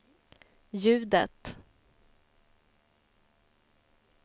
ljudet